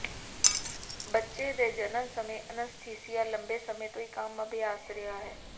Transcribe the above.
ਬੱਚੇ ਦੇ ਜਨਮ ਸਮੇਂ ਅਨੱਸਥੀਸੀਆ ਲੰਬੇ ਸਮੇਂ ਤੋਂ ਇਕ ਆਮ ਅਭਿਆਸ ਰਿਹਾ ਹੈ